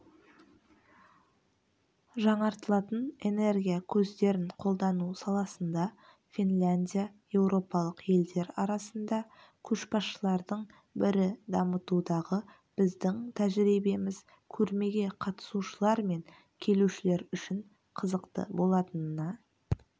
жаңартылатын энергия көздерін қолдану саласында финляндия еуропалық елдер арасында көшбасшылардың бірі дамытудағы біздің тәжірибеміз көрмеге қатысушылар мен келушілер үшін қызықты болатынына